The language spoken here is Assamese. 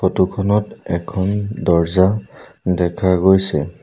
ফটো খনত এখন দৰ্জা দেখা গৈছে।